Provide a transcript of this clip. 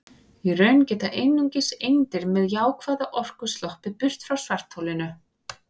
Í raun geta einungis eindir með jákvæða orku sloppið burt frá svartholinu.